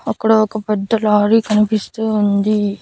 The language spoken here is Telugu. అక్కడ ఒక పెద్ద లారీ కనిపిస్తూ ఉంది.